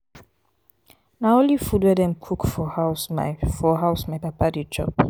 na only food wey dem cook for house my for house my papa dey chop.